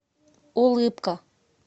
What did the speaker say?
улыбка